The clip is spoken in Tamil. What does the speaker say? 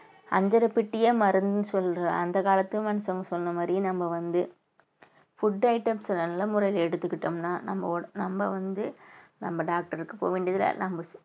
அஞ்சறை பெட்டி ஏன் மருந்துன்னு சொல்றோம் அந்த காலத்து மனுஷங்க சொன்ன மாரி நம்ம வந்து food items அ நல்ல முறையில எடுத்துக்கிட்டோம்ன்னா நம்ம உ~ நம்ம வந்து நம்ம doctor க்கு போக வேண்டியதில்லை. நம்ம